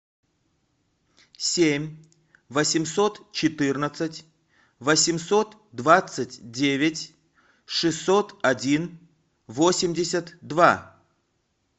семь восемьсот четырнадцать восемьсот двадцать девять шестьсот один восемьдесят два